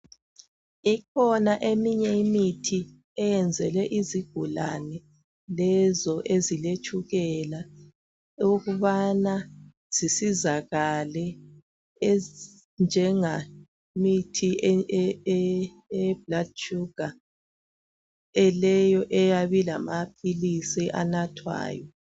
Ikhona eminye imithi eyenzelwe izigulane lezo eziletshukela ,ukubana zisizakale .Ezinjengemithi eye blood sugar, leyo eyabe ilamaphilisi anathwayo.